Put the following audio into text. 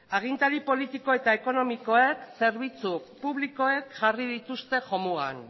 agintari politiko eta ekonomikoek zerbitzu publikoek jarri dituzte jomugan